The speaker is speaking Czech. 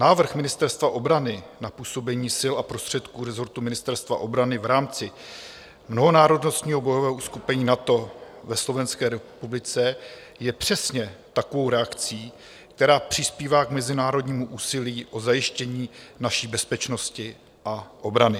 Návrh Ministerstva obrany na působení sil a prostředků rezortu Ministerstva obrany v rámci mnohonárodnostního bojového uskupení NATO ve Slovenské republice je přesně takovou reakcí, která přispívá k mezinárodnímu úsilí o zajištění naší bezpečnosti a obrany.